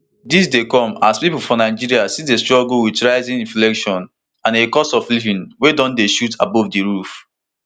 dis dey come as pipo for nigeria still dey struggle wit rising inflation and a cost of living wey don dey shoot above di roof